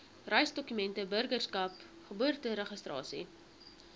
reisdokumente burgerskap geboorteregistrasie